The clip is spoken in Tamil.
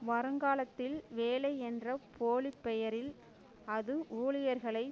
வருங்காலத்தில் வேலை என்ற போலி பெயரில் அது ஊழியர்களை